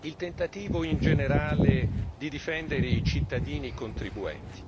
il tentativo in generale di difendere i cittadini e i contribuenti.